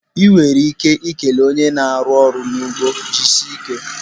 Enwere ike ikele one na-arụ ọrụ n'ugbo 'jisie ike'